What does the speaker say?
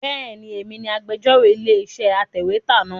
Bẹ́ẹ̀ni, èmi ni agbẹ́jọ́rò ilé-iṣẹ́ atẹ̀wétà náà.